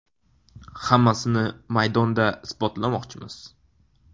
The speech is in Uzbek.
Hammasini maydonda isbotlamoqchimiz.